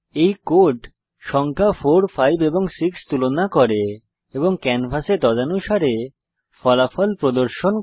এই কোড সংখ্যা 4 5 এবং 6 তুলনা করে এবং ক্যানভাসে তদানুসারে ফলাফল প্রদর্শন করে